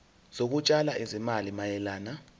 zokutshala izimali mayelana